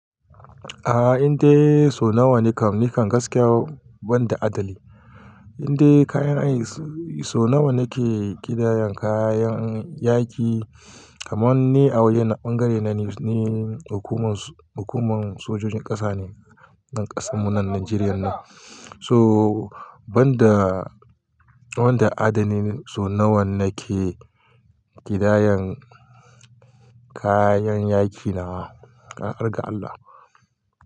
A'a, inda so nawa nikan, nikan gaskiya banda adadi. Inda kayan ai so nawa nake ƙidayan kayan yaƙi kamar wanne a wajen ɓangare na hukumar, hukumar sojojin ƙasa ne na ƙasar mu nan Najeriya nan. So banda, wanda adadi so nawa nake ƙidayan kayan yaƙi na, ƙarar ga Allah.